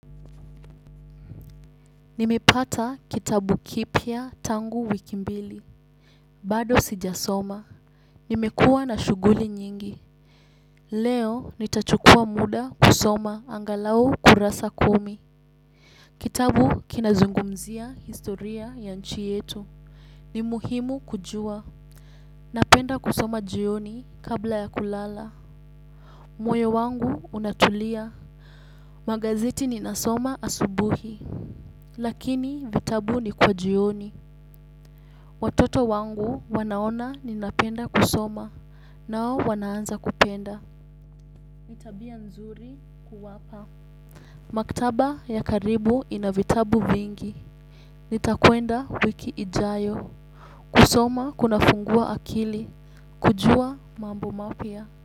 Nimepata kitabu kipya tangu wiki mbili. Bado sijasoma. Nimekua na shughuli nyingi. Leo nitachukua muda kusoma angalau kurasa kumi. Kitabu kinazungumzia historia ya nchi yetu. Ni muhimu kujua. Napenda kusoma jioni kabla ya kulala. Moyo wangu unatulia. Magazeti ninasoma asubuhi. Lakini vitabu ni kwa jioni. Watoto wangu wanaona ninapenda kusoma, nao wanaanza kupenda. Ni tabia nzuri kuwapa. Maktaba ya karibu ina vitabu vingi. Nitakuenda wiki ijayo. Kusoma kunafungua akili. Kujua mambo mapya.